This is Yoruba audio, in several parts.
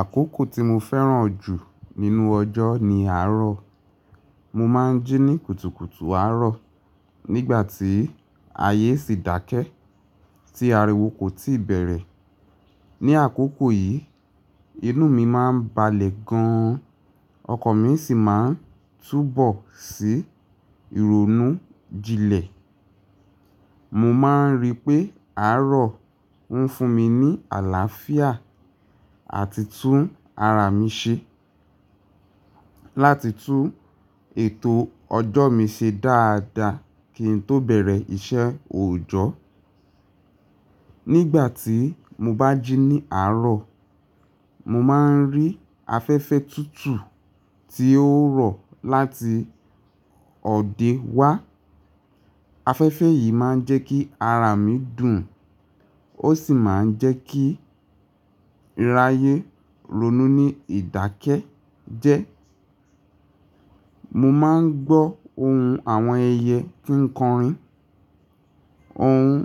Àkókò tí mo fẹ́ràn jù nínú ọjọ́ ni àárọ̀. Mo máa ń jí ní kùtùkùtù àárọ̀ nígbà tí ayé sì ń dákẹ́, tí ariwo kò tíì bẹ̀rẹ̀. Ni àkókò yìí, inú mi máa ń balẹ̀ gan, ọkọ̀ mi sì máa ń túbọ̀ sí ìrònú jinlẹ̀. Mo máa ń rí pé àárọ̀ ń fún mi ní àlàáfíà àti tún ara mi ṣe láti tú ètò ọjọ́ mi ṣe dáadáa kí n tó bẹ̀rẹ̀ iṣẹ́ òòjọ́. Nígbà tí mo bá jí ní àárọ̀, mo máa ń rí afẹ́fẹ́ tútù tí ó ń rọ̀ láti òde wá. Afẹ́fẹ́ yìí máa ń jẹ́ kí ara mi dùn, ó sì máa ń jẹ́ kí raye ronú ní ìdákẹ́ jẹ́. Mo máa ń gbọ́ ohùn àwọn ẹyẹ kíńkọrin, ohùn,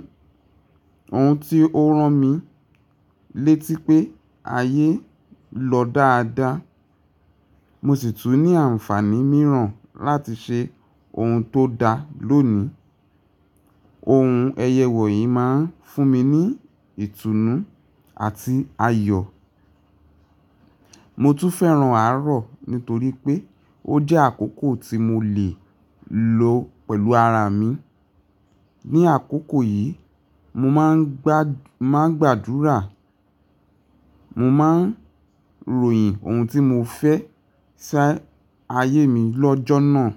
ohùn tí ó rán mi létí pé ayé lọ dáadáa. Mo sì tún ní àǹfààní mìíràn láti ṣe ohun tó da lónìí. Ohùn ẹyẹ wọ̀nyí máa ń fún mi ní ìtùnú àti ayọ̀. Mo tún fẹ́ràn àárọ̀ nítorí pé ó jẹ́ àkókò tí mo lè lo pẹ̀lú ara mi. Ni àkókò yìí, mo máa ń gbá, máa ń gbàdúrà, mo máa ń ròyìn ohùn tí mo fẹ́ ṣá ayé mi lọ́jọ́ náà.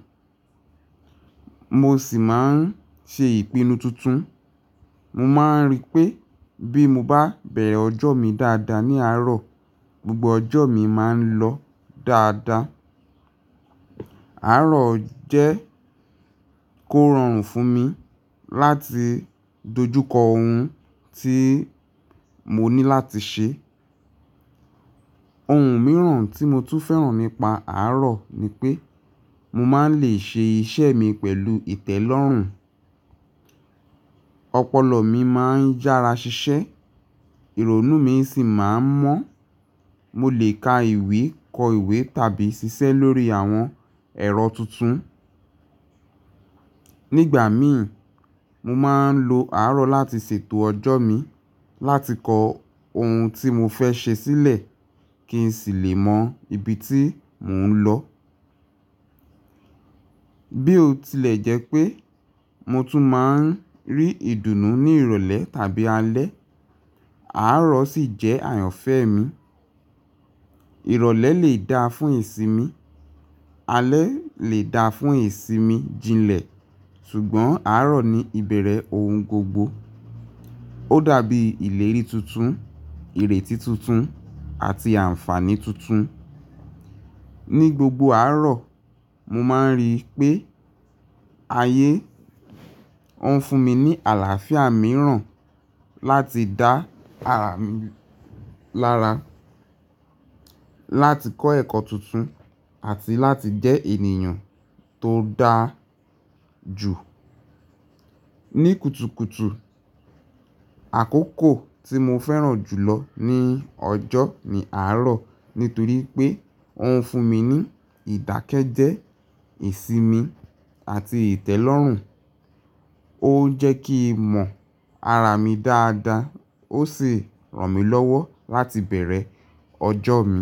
Mo sì máa ń ṣe ìpinnu tuntun. Mo máa ń rí pé bí mo bá bẹ̀rẹ̀ ọjọ́ mi dáadáa ní àárọ̀, gbogbo ọjọ́ mi máa ń lọ dáadáa. Àárọ̀ jẹ́ kó ran fún mi láti dojúkọ ohùn tí mo ní láti ṣe. Ohun mìíràn tí mo tún fẹ́ràn nípa àárọ̀ ni pé mo máa ń lè ṣe iṣẹ́ mi pẹ̀lú ìtẹ́lọ́rùn. Ọpọlọ mi máa ń jára ṣiṣẹ́, ìrònú mi sì máa ń mọ́. Mo lè ka ìwé, kọ ìwé tàbí ṣiṣẹ́ lórí àwọn ẹ̀rọ tuntun. Nígbà mìíràn, mo máa ń lo àárọ̀ láti ṣètò ọjọ́ mi, láti kọ ohùn tí mo fẹ́ ṣe sílẹ̀ kí n sì lè mọ ibi tí mò ń lọ. Bí ó tilẹ̀ jẹ́ pé mo tún máa ń rí ìdùnnú ní ìrọ̀lẹ́ tàbí alẹ́, àárọ̀ sì jẹ́ àyànfẹ́ mi. Ìrọ̀lẹ́ lè da fún ìsinmi, alẹ́ lè da fún ìsinmi jinlẹ̀, ṣùgbọ́n àárọ̀ ni ìbẹ̀rẹ̀ ohùn gbogbo. Ó dàbí ìlérí tuntun, ìrètí tuntun àti àǹfààní tuntun. Ni gbogbo àárọ̀, mọ máa ń rí i pé ayé ó ń fún mi ní àlàáfíà mìíràn láti dá ara mi lára, láti kọ́ ẹ̀kọ́ tuntun àti láti jẹ́ ènìyàn tó dáa jù. Ní kùtùkùtù, àkókò tí mọ fẹ́ràn jùlọ ní ọjọ́ ni àárọ̀ nítorí pé ó ń fún mi ní ìdákẹ́jẹ́, ìsinmi àti ìtẹ́lọ́rùn. Ó ń jẹ́ kí mọ̀ ara mi dáadáa, ó sì rán mi lọ́wọ́ láti bẹ̀rẹ̀ ọjọ́ mi.